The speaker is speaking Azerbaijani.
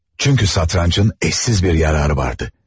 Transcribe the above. Çünki satrançın eşsiz bir yararı vardı.